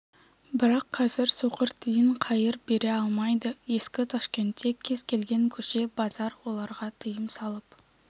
бірақ қазір соқыр тиын қайыр бере алмайды ескі ташкентте кез келген көше базар оларға тыйым салып